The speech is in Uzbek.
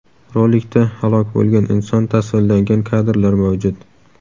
Rolikda halok bo‘lgan inson tasvirlangan kadrlar mavjud.